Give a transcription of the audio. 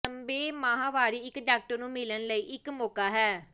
ਲੰਬੇ ਮਾਹਵਾਰੀ ਇੱਕ ਡਾਕਟਰ ਨੂੰ ਮਿਲਣ ਲਈ ਇੱਕ ਮੌਕਾ ਹੈ